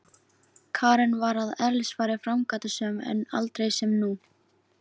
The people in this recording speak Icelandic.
Karen var að eðlisfari framkvæmdasöm en aldrei sem nú.